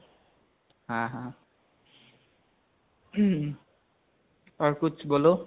ha ha aur kuch bolo